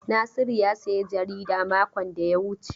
Nasiru ya sayi jarida makon da ya wuce.